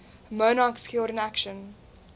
monarchs killed in action